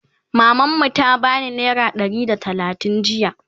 maman mu ta bani naira Ɗari da talatin jiya